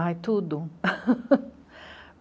Ai, tudo!